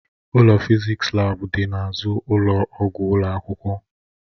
Ụlọ fịzịksi laabu dị n'azụ ụlọ ọgwụ ụlọ akwụkwọ.